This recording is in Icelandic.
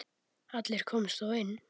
Allir komust þó inn.